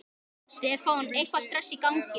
Það er nýtt til fulls.